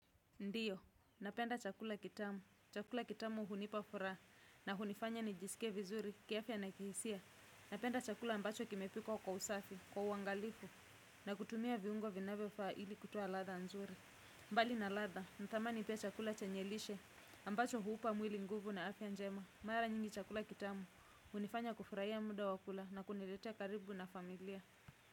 Ndiyo, napenda chakula kitamu, chakula kitamu hunipafuraha, na hunifanya nijisike vizuri, kiafya na kihisia, napenda chakula ambacho kimepikwa kwa usafi, kwa uangalifu, na kutumia viungo vinavyofaa ili kutoa latha nzuri. Bali na latha natamani pia chakula chenye lishe ambacho hupa mwili nguvu na afya njema mara nyingi chakula kitamu hunifanya muda wa kula na kunileta karibu na familia.